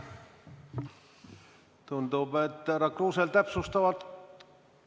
Tundub, et härra Kruusel täpsustavat ...